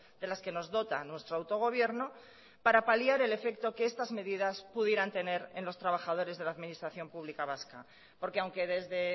de las que nos dota nuestro autogobierno para paliar el efecto que estas medidas pudieran tener en los trabajadores de la administración pública vasca porque aunque desde